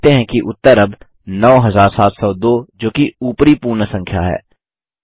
आप देखते हैं कि उत्तर अब 9702 जोकि ऊपरी पूर्ण संख्या है